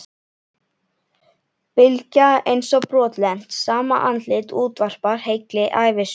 Bylgja eins og brotlent, sama andlit útvarpar heilli ævisögu.